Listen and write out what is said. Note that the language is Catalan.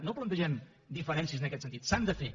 no plantegem diferències en aquest sentit s’han de fer